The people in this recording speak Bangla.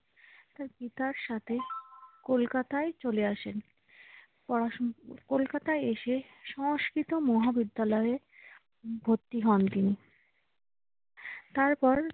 তার পিতার সাথে কলকাতায় চলে আসেন পড়াশোনা করতে। কলকাতায় এসে সংস্কৃত মহাবিদ্যালয়ে ভর্তি হন তিনি। তারপর